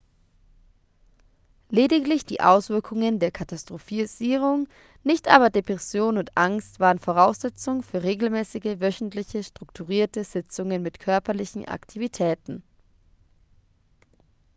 lediglich die auswirkungen der katastrophisierung nicht aber depression und angst waren voraussetzung für regelmäßige wöchentliche strukturierte sitzungen mit körperlichen aktivitäten